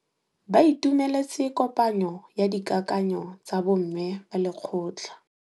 Ba itumeletse kôpanyo ya dikakanyô tsa bo mme ba lekgotla.